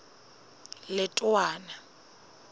letowana